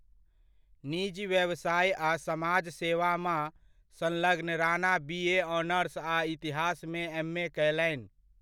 निजी व्यवसाय आ समाजसेवामा संलग्न राणा बी.ए.ऑनर्स आ इतिहासमे एम.ए कयलनि।